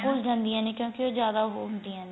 ਘੁੱਲ ਜਾਂਦੀਆਂ ਨੇ ਕਿਉਂਕਿ ਉਹ ਜਿਆਦਾ ਉਹ ਹੁੰਦੀਆਂ ਨੇ